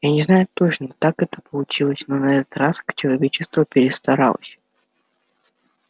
я не знаю точно как это получилось но на этот раз человечество перестаралось